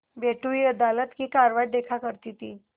बैठी हुई अदालत की कारवाई देखा करती थी